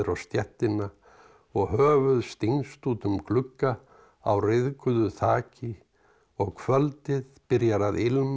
stéttina og höfuð stingst út um glugga á ryðguðu þaki og kvöldið byrjar að